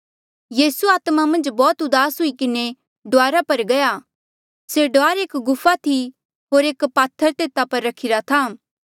यीसू आत्मा मन्झ बौह्त दुआस हुई किन्हें डुआरा पर गया से डुआर एक गुफा थी होर एक पात्थर तेता पर रखिरा था